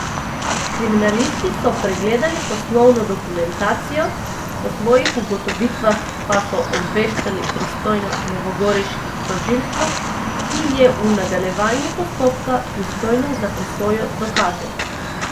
Kriminalisti so pregledali poslovno dokumentacijo, o svojih ugotovitvah pa so obveščali pristojno novogoriški tožilstvo, ki je v nadaljevanju postopka pristojno za presojo dokazov.